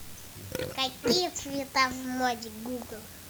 какие цвета в моде гугл